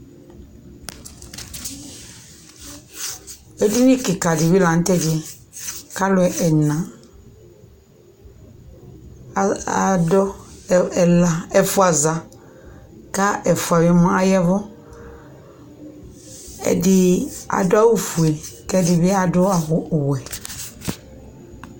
Edini kɩka dɩ bɩ la nʋ tʋ ɛdɩ yɛ kʋ alʋ ɛna al adʋ ɛna, ɛfʋa za kʋ ɛfʋa aya ɛvʋ Ɛdɩ adʋ awʋfue kʋ ɛdɩ bɩ adʋ awʋ ɔwɛ